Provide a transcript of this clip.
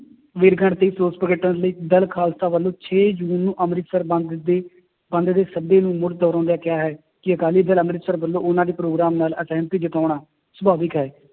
ਵਰੇਗੰਢ ਤੇ ਰੋਸ ਪ੍ਰਗਟਣ ਲਈ ਦਲ ਖਾਲਸਾ ਵੱਲੋਂ ਛੇ ਜੂਨ ਨੂੰ ਅੰਮ੍ਰਿਤਸਰ ਬੰਦ ਦੀ ਬੰਦ ਦੇ ਸੱਦੇ ਨੂੰ ਮੁੱੜ ਦਹਰਾਉਂਦਿਆਂ ਕਿਹਾ ਹੈ ਕਿ ਅਕਾਲੀ ਦਲ ਅੰਮ੍ਰਿਤਸਰ ਵੱਲੋਂ ਉਹਨਾਂ ਦੀ ਪ੍ਰੋਗਰਾਮ ਨਾਲ ਅਸਿਹਮਤੀ ਜਤਾਉਣਾ ਸੁਭਾਵਿਕ ਹੈ,